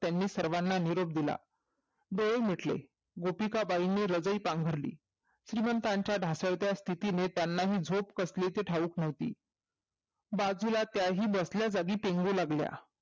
त्यांनी सर्वाना निरोप दिला डोळे मिटले गोपिकाबाईनी हृदय पाफरली श्रीमंतांच्या ढासळत्या स्थितीने त्यांना हि झोप कसले हि ती माहित नव्हती बाजूला बसल्या जागी त्याही पेंगू लागल्या